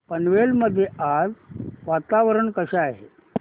पारनेर मध्ये आज वातावरण कसे आहे